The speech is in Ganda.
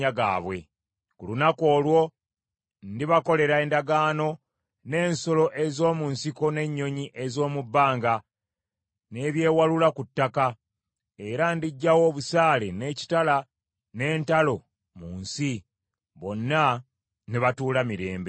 Ku lunaku olwo ndibakolera endagaano n’ensolo ez’omu nsiko n’ennyonyi ez’omu bbanga, n’ebyewalula ku ttaka, era ndiggyawo obusaale, n’ekitala, n’entalo mu nsi, bonna ne batuula mirembe.